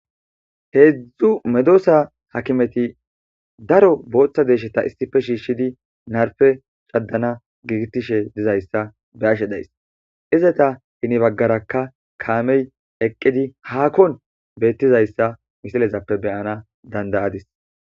Hedzdzu medosa hakimeti daro botha deshata issippe shishidi narppe ca,dana gidi nagishe dizayisa be,ashe dayis izata hini bagaraka kame eqidi hakon betizayisa misileppe be,anawu dandayadis